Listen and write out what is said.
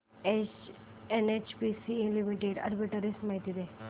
NHPC limited arbitrage माहिती दे